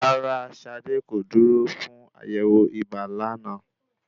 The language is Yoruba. Rárá, Ṣadé kò dúró fún àyẹ̀wò ibà lánàá.